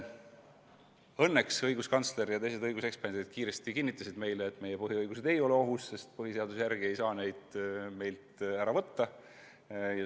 Õnneks õiguskantsler ja teised õiguseksperdid kinnitasid meile kiiresti, et meie põhiõigused ei ole ohus, sest põhiseaduse järgi ei saa neid meilt ära võtta.